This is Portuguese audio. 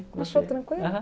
Achou tranquilo?